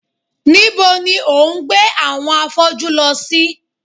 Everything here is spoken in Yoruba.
Nibo ni o gbe awọn afọju lọ si?